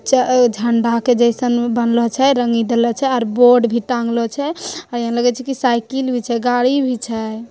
झ- झण्डा के जैसे बनले हाए और बोर्ड भी टाँगले छे और यहाँ लगे छे यहाँ साइकिल भी छे गाड़ी भी छे